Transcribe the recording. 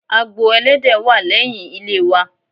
Agbo Ẹlẹ́dẹ̀ wà lẹ́yìn ilé wa.